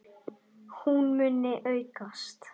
Hún muni aukast!